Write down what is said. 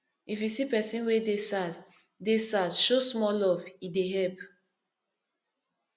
if you see pesin wey dey sad dey sad show small love e dey help